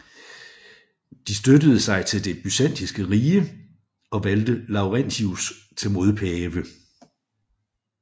De støttede sig til det byzantinske rige og valgte Laurentius til modpave